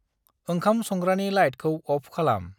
ओंखाम संग्रानि लाइटखौ अफ खालाम्